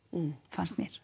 fannst mér